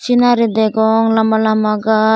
sinari degong lamba lamba gash.